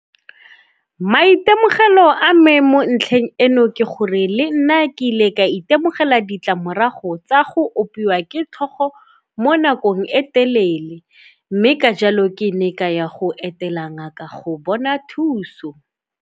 Maitemogelo a me mo ntlheng eno ke gore le nna ke ile ka itemogela ditlamorago tsa go opiwa ke tlhogo mo nakong e telele mme ka jalo ke ne ka ya go etela ngaka go bona thuso.